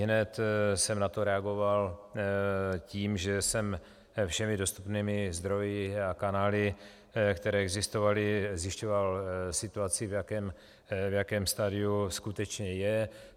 Ihned jsem na to reagoval tím, že jsem všemi dostupnými zdroji a kanály, které existovaly, zjišťoval situaci, v jakém stadiu skutečně je.